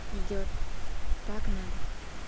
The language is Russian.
идёт так надо